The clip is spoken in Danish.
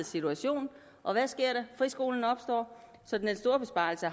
situation og hvad sker der friskolen opstår så den store besparelse